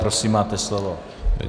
Prosím máte slovo.